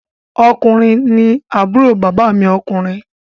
Ọkùnrin àbúrò bàbá mi ọkùnrin